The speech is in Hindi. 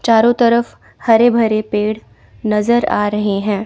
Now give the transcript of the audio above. चारों तरफ हरे भरे पेड़ नजर आ रहे हैं।